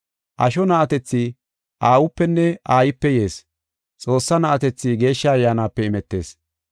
Asho na7atethi aawupenne aayipe yees; Xoossaa na7atethi Geeshsha Ayyaanape imetees.